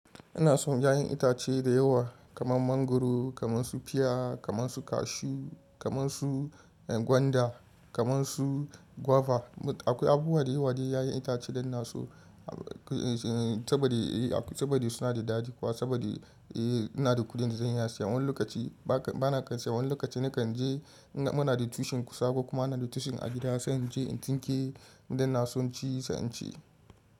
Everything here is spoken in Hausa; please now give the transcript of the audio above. Ina son ya'yan itace da yawa kamar mangwaro, kamar su piya, kamar su cashew, kamar su gwanda, kamar su guava. Akwai abubu wada yawade ya'yan itace da ina so saboda suna da daɗi kuma saboda ina da kuɗin da zan iya siya. Wani lokaci bana iya siya wani lokaci nakan je muna da tushen kusako kuma muna da tushen a gida sai in je in tsinke da na so ci sai in ci.